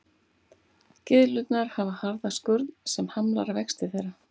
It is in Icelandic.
Gyðlurnar hafa harða skurn sem hamlar vexti þeirra.